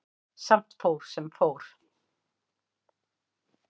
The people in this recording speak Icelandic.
Samt fór sem fór.